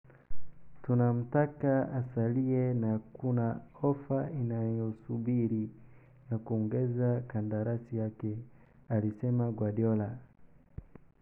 "Tunamtaka asalie na kuna ofa inayosubiri ya kuongeza kandarasi yake," alisema Guardiola.